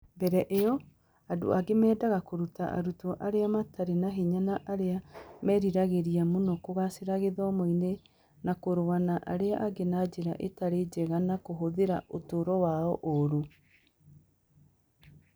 Mbere ĩyo, andũ aingĩ meendaga kũruta arutwo arĩa mataarĩ na hinya na arĩa meriragĩria mũno kũgaacĩra gĩthomo-inĩ na kũrũa na arĩa angĩ na njĩra ĩtarĩ njega na kũhũthĩra ũtũũro wao ũũru.